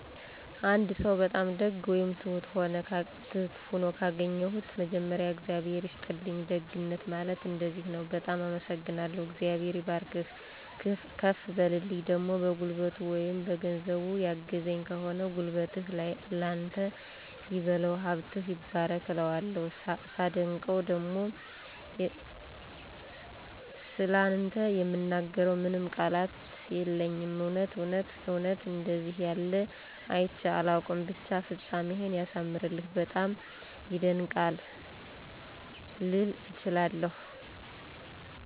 አንድ ሰው በጣም ደግ ወይም ትሁት ሆኖ ካገኘሁት መጀመሪያ “እግዚአብሔር ይስጥልኝ፣ ደግነት ማለት እንደዚህ ነው፤ በጣም አመሰግናለሁ፣ እግዚአብሔር ይባርክህ፤ ከፍ በልልኝ“ ፣ደሞ በጉልበቱ ወይም በገንዘብ ያገዘኝ ከሆነ “ጉልበትህን ላንተ ይበለው፣ ሀብትህ ይባረክ “ እለዋለሁ። ሳደንቀው ደሞ “ስላንተ የምናገረው ምንም ቃላት የለኝም እውነት እውነት እውነት አንደዚህ ያለ አይቸ አላውቅም ብቻ ፍጻሜህን ያሳምርልህ፤ በጣም ይደንቃል! “ልል እችላለሁ።